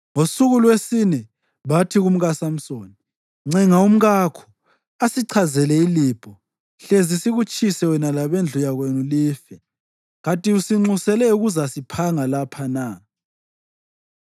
Ngosuku lwesine bathi kumkaSamsoni, “Ncenga umkakho asichazele ilibho, hlezi sikutshise wena labendlu yakwenu life. Kanti usinxusele ukuzasiphanga lapha na?”